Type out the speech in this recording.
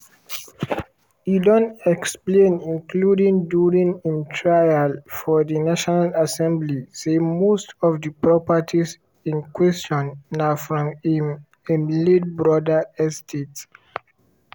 e don explain including during im trial for di national assembly say most of di properties in question na from im im late brother estate.